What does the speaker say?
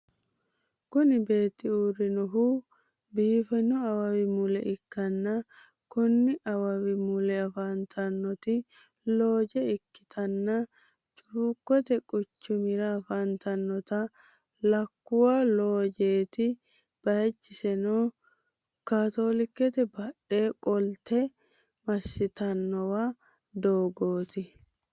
Kuni beetti uurrinnohu biifanno awawi mule ikkanna konni awawi mule afantanot looje ikkitanna cuukkote quchumira afantanota lakkuwa loojeti bayichiseno katolikete badhe qolte massitawo doogorati.